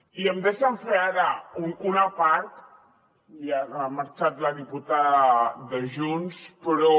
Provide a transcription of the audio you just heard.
i em deixen fer ara un apart ja ha marxat la diputada de junts però